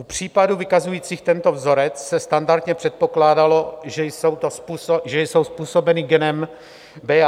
U případů vykazujících tento vzorec se standardně předpokládalo, že jsou způsobeny genem BA.